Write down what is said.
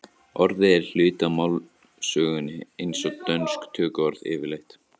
orðið er hluti af málsögunni eins og dönsk tökuorð yfirleitt